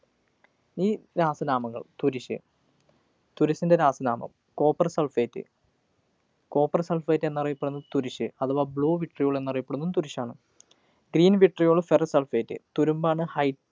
ഈ രാസനാമങ്ങള്‍. തുരിശ്, തുരിശിൻ്റെ രാസനാമം copper sulphate. copper sulphate എന്നറിയപ്പെടുന്നത് തുരിശ്. അഥവാ blue vitriol എന്നറിയപ്പെടുന്നതും തുരിശാണ്. green vitriolferrous sulphate തുരുമ്പാണ് ഹൈ